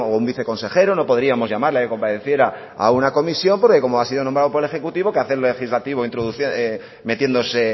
un viceconsejero no podríamos llamarle para que compareciera a una comisión porque como ha sido nombrado por el ejecutivo qué hace el legislativo metiéndose